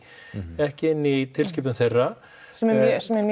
ekki inni í tilskipun þeirra sem er mjög